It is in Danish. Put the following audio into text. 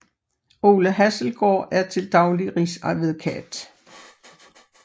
Ole Hasselgaard er til daglig rigsadvokat